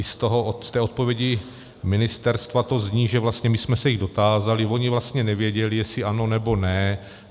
I z té odpovědi ministerstva to zní, že vlastně - my jsme se jich dotázali, oni vlastně nevěděli, jestli ano, nebo ne.